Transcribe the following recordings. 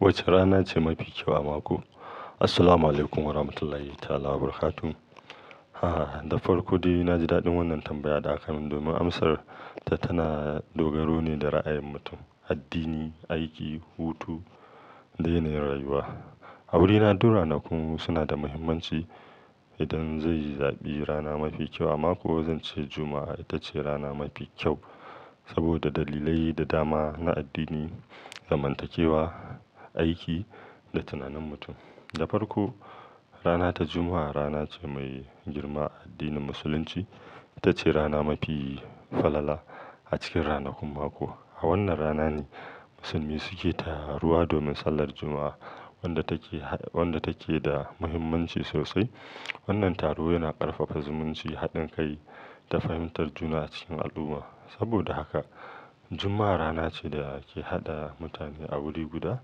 Wace rana ce mafi kyau a mako? Assalamualaikum warahmatullahi ta'ala wabarakatuh. Ha, da farko dai na ji daɗin wannan tambaya da aka min domin amsar ta tana dogaro ne da ra'ayin mutum, addini, aiki, hutu da yanayin rayuwa. A wurina duk ranakun suna da muhimmanci. Idan zai yi zaɓi rana mafi kyau a mako, zanci Juma'a ita ce rana mafi kyau saboda dalilai da dama na addini, zamantakewa, aiki da tunanin mutum. Da farko, rana ta Juma'a rana ce mai girma a addinin Musulunci. Ita ce rana mafi falala a cikin ranakun mako. A wannan rana ne musulmi suke taruwa domin sallar Juma'a, wadda take, wadda take da muhimmanci sosai. Wannan taro yana ƙarfafa zumunci, haɗin kai da fahimtar juna cikin al'umma. Saboda haka, Juma'a rana ce da ke haɗa mutane a wuri guda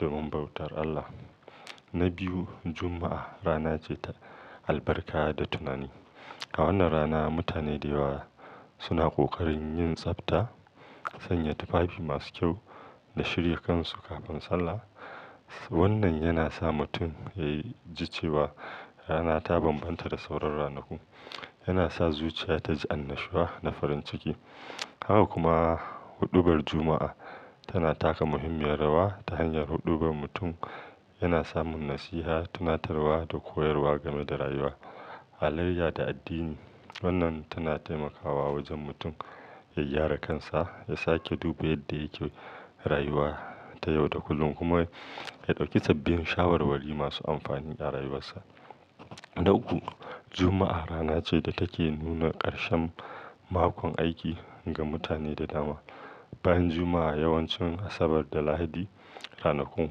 domin bautar Allah. Na biyu, Juma'a rana ce ta albarka da tunani. A wannan rana mutane da yawa suna ƙoƙarin yin tsafta, sanya tufafi masu kyau da shirya kansu kafin sallah. Wannan yana sa mutum ya ji cewa rana ta bambanta da sauran ranakun. Yana sa zuciya ta ji annashuwa na farin ciki. Haka kuma, huɗubar Juma'a tana taka muhimmiyar rawa ta hanyar huɗubar mutum. Yana samun nasiha, tunatarwa da koyarwa game da rayuwa, halayya da addini. Wannan tana taimakawa wajen mutum ya gyara kansa, ya sake duba yadda yake rayuwa ta yau da kullum kuma ya ɗauki sabbin shawarwari masu amfani a rayuwarsa. Na uku, Juma'a rana ce da take nuna ƙarshen makon aiki ga mutane da dama. Bayan Juma'a yawancin Asabar da Lahadi ranakun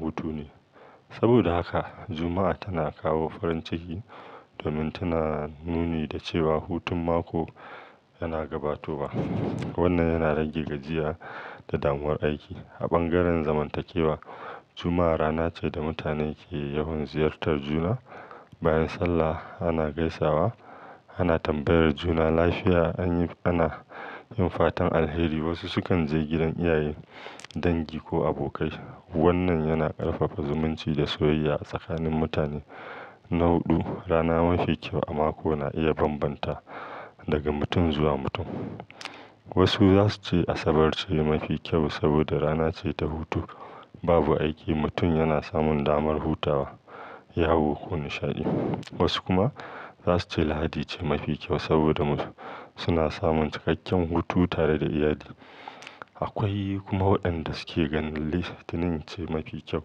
hutu ne. Saboda haka Juma'a tana kawo farin ciki domin tana nuni da cewa hutun mako yana gabatowa. Wannan yana rage gajiya da damuwar aiki. A bangaren zamantakewa, Juma'a rana ce da mutane ke yawan ziyartar juna. Bayan sallah ana gaisawa, ana tambayar juna lafiya, ana yin fatan alheri. Wasu sukan je gidan iyaye, dangi ko abokai. Wannan yana ƙarfafa zumunci da soyayya a tsakanin mutane. Na huɗu, rana mafi kyau a mako na iya bambanta daga mutum zuwa mutum. Wasu za su ce Asabar ce mafi kyau saboda rana ce ta hutu. Babu aiki mutum yana samun damar hutawa, yawo ko nishaɗi. Wasu kuma za su ce Lahadi ce mafi kyau saboda suna samun cikakken hutu tare da iyali. Akwai kuma waɗanda suke ganin Litinin ce mafi kyau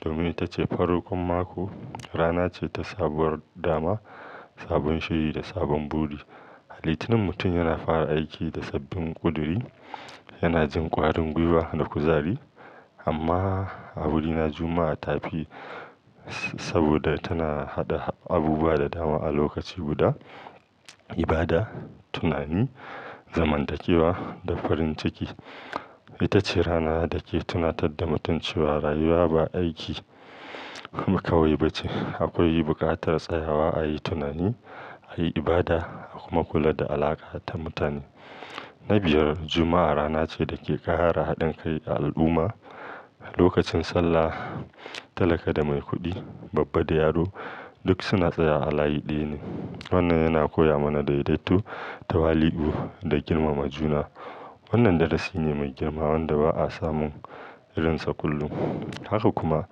domin ita ce farkon mako, rana ce ta sabuwar dama, sabon shiri da sabon buri. A Litinin mutum yana fara aiki da sabbin ƙuduri, yana jin ƙwarin gwiwa da kuzari. Amma a wurina Juma'a ta fi saboda tana haɗa abubuwa da dama a lokaci guda ibada, tunani, zamantakewa da farin ciki. Ita ce rana da ke tunatar da mutum cewa rayuwa ba aiki kawai ba ce. Akwai buƙatar tsayawa a yi tunani, a yi ibada kuma kula da alaƙa ta mutane. Na biyar, Juma'a rana ce da ke ƙara haɗin kai a al'umma. Lokacin sallah talaka da mai kuɗi, babba da yaro duk suna tsaya a layi ɗaya ne. Wannan yana koya mana daidaito, tawali'u da girmama juna. Wannan darasi ne mai girma wanda ba a samun irinsa kullum. Haka kuma,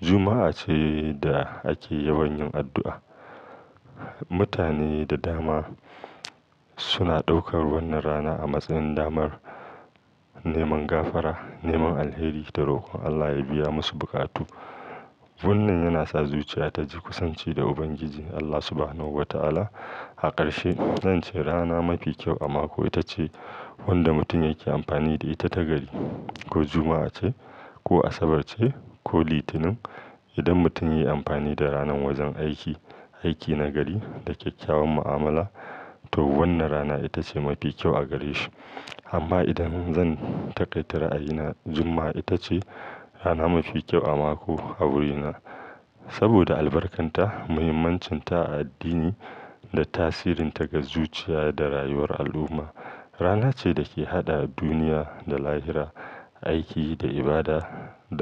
Juma'a ce da ake yawan yin addu'a. Mutane da dama suna ɗaukar wannan rana a matsayin damar neman gafara, neman alheri da rokon Allah ya biya musu buƙatu. Wannan yana sa zuciya ta ji kusanci da Ubangiji Allah Subahanahu wa Ta'ala. A ƙarshe, zan ce rana mafi kyau a mako ita ce wadda mutum yake amfani da ita ta gari. Ko Juma'a ce ko Asabar ce ko Litinin. Idan mutum ya yi amfani da ranar wajen aiki, aiki na gari da kyakkyawan mu'amala to wannan rana ita ce mafi kyau a gare shi. Amma idan zan takaita ra, ayina, Juma'a ita ce rana mafi kyau a mako a wurina saboda albarkarta, muhimmancinta a addini da tasirinta ga zuciya da rayuwar al'umma. Rana ce da ke haɗa duniya da lahira, aiki da ibada da mutum.